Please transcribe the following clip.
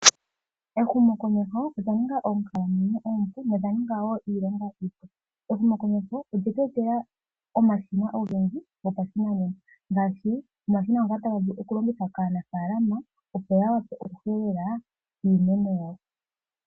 Ehumo komeho olya ninga omukalo uunene omupu nolya ninga iilonga iipu. Ehumo komeho olyetu etela omashina ogendji ngashi omashina ngoka taga vulu oku longithwa kaanafalama, opo ya vule oku helela iimeno yawo.